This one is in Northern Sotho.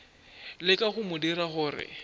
leka go mo dira gore